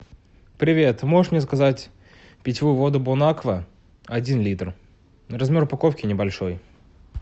привет можешь мне заказать питьевую воду бон аква один литр размер упаковки небольшой